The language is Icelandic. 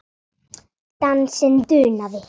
Dansinn dunaði.